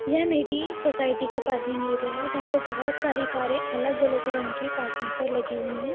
यह मेरी सोसाइटी का पार्किंग एरिया है जहाँ पे बोहोत सारी कारें अलग-अलग रंग की पार्किंग पर लगी हुई हैं।